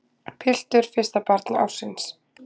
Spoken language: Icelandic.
Piltur fyrsta barn ársins